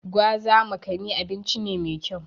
Gwaza/Makani abinci ne mai kyau.